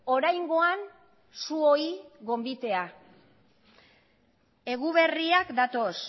oraingoan zuoi gonbitea eguberriak datoz